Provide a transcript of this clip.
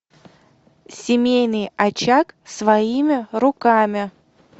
семейный очаг своими руками